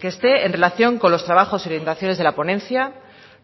que esté en relación con los trabajos orientaciones de la ponencia